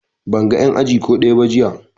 Ban ga en aji ko ɗaya ba jiya